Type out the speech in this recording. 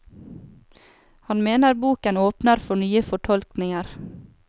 Han mener boken åpner for nye fortolkninger.